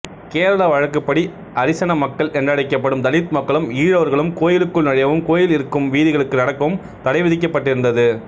கேரள வழக்கப்படி அரிசன மக்கள் என்றழைக்கப்படும் தலித் மக்களும் ஈழவர்களும் கோயிலுக்குள் நுழையவும் கோயில் இருக்கும் வீதிகளில் நடக்கவும் தடைவிதிக்கப்பட்டிருந்தது